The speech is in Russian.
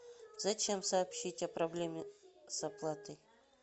зачем сообщить о проблеме с оплатой